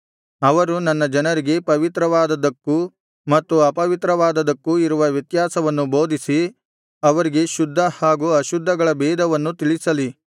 ಅವರು ನನ್ನ ಜನರಿಗೆ ಪವಿತ್ರವಾದದ್ದಕ್ಕೂ ಮತ್ತು ಅಪವಿತ್ರವಾದದ್ದಕ್ಕೂ ಇರುವ ವ್ಯತ್ಯಾಸವನ್ನು ಬೋಧಿಸಿ ಅವರಿಗೆ ಶುದ್ಧ ಹಾಗೂ ಅಶುದ್ಧಗಳ ಭೇದವನ್ನು ತಿಳಿಸಲಿ